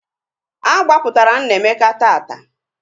A gbapụtara Nnaemeka taata